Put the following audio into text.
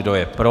Kdo je pro?